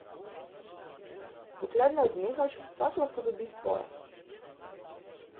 Dokler ne odnehaš, vsak lahko dobi svoje.